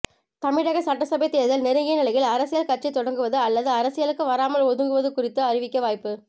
தமிழக சட்டசபை தேர்தல் நெருங்கிய நிலையில் அரசியல் கட்சி தொடங்குவது அல்லது அரசியலுக்கு வராமல் ஒதுங்குவது குறித்து அறிவிக்க வாய்ப்பு